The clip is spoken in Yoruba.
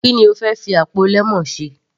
Ki ni o fẹ́ fi àpò lemon ṣe.